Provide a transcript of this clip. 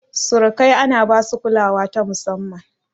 Surikai ana basu kulawa ta musamman.